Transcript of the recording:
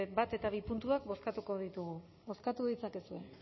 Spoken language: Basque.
bat eta bi puntuak bozkatu ditugu bozkatu ditzakezue